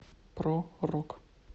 про рок